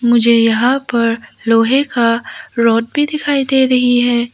मुझे यहां पर लोहे का रॉड भी दिखाई दे रही है।